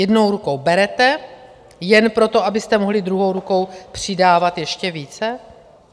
Jednou rukou berete jen proto, abyste mohli druhou rukou přidávat ještě více?